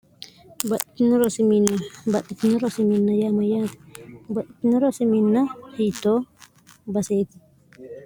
baxitio rosiminn baxxitio rosiminn yaam yaati baxitino rosiminn hiittoo baseeti